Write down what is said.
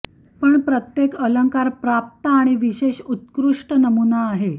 पण प्रत्येक अलंकार प्राप्त आणि विशेष उत्कृष्ट नमुना आहे